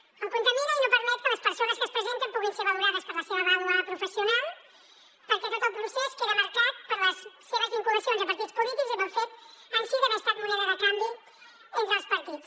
el contamina i no permet que les persones que s’hi presenten puguin ser valorades per la seva vàlua professional perquè tot el procés queda marcat per les seves vinculacions a partits polítics i pel fet en si d’haver estat moneda de canvi entre els partits